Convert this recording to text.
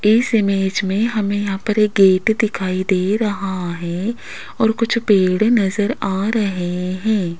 इस इमेज में हमें यहां पर एक गेट दिखाई दे रहा है और कुछ पेड़ नजर आ रहे हैं।